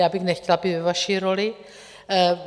Já bych nechtěla být ve vaší roli.